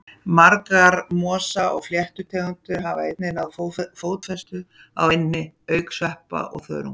Margar mosa- og fléttutegundir hafa einnig náð fótfestu á eynni, auk sveppa og þörunga.